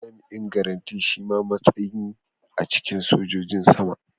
Babban jami'in garanti shima matsayi a cikin sojojin sama.